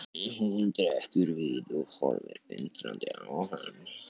Magga, sem var létt eins og fis, sneri öfugt.